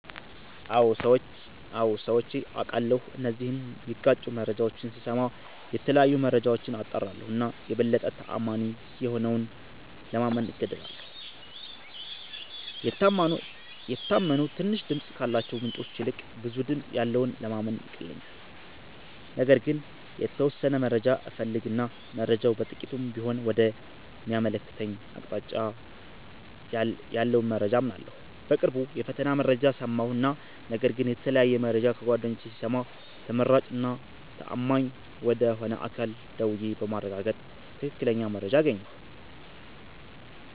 አዎ ሠምቼ አቃለሁ እነዚህን ሚጋጩ መረጃዎች ስስማ የተለያዩ መረጃዎች አጣራለሁ እና የበለጠ ተአማኒ የሆነውን ለማመን እገደዳለሁ። የታመኑ ትንሽ ድምፅ ካላቸው ምንጮች ይልቅ ብዙ ድምጽ ያለውን ለማመን ይቀለኛል። ነገር ግን የተወሠነ መረጃ እፈልግ እና መረጃው በጥቂቱም ቢሆን ወደ ሚያመለክተኝ አቅጣጫ ያለውን መረጃ አምናለሁ። በቅርቡ የፈተና መረጃ ሠማሁ እና ነገር ግን የተለያየ መረጃ ከጓደኞቼ ስሰማ ተመራጭ እና ተአማኝ ወደ ሆነ አካል ደውዬ በማረጋገጥ ትክክለኛ መረጃ አገኘሁ።